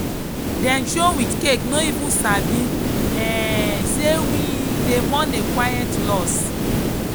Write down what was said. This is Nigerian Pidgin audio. dem show with cake no even sabi um say we dey mourn a quiet loss.